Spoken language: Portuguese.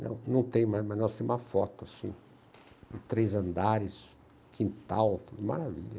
Não, não tem, mas nós temos uma foto, assim, de três andares, quintal, tudo maravilha.